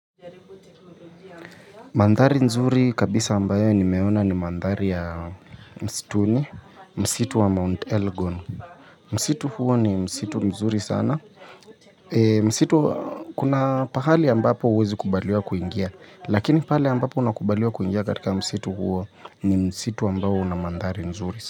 Mandhari nzuri kabisa ambayo nimeona ni mandhari ya msituni, msitu wa Mount Elgon, msitu huo ni msitu nzuri sana kuna pahali ambapo huwezi kubaliwa kuingia lakini pahali ambapo unakubaliwa kuingia katika msitu huo ni msitu ambayo una mandhari nzuri sana.